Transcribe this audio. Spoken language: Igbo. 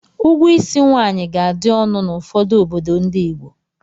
Ụgwọ ísí nwaanyị ga-adị ọnụ n'ụfọdụ obodo ndị Igbo.